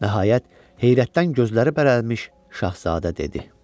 Nəhayət, heyrətdən gözləri bərəmiş Şahzadə dedi: